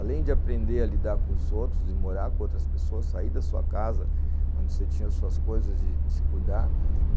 Além de aprender a lidar com os outros e morar com outras pessoas, sair da sua casa, onde você tinha suas coisas e se cuidar.